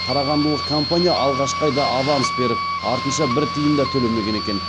қарағандылық компания алғашқы айда аванс беріп артынша бір тиын да төлемеген екен